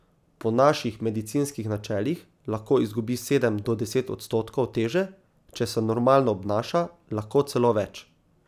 Po naših medicinskih načelih lahko izgubi sedem do deset odstotkov teže, če se normalno obnaša, lahko celo več.